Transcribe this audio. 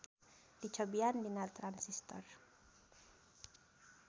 Dicobian dina Transistor.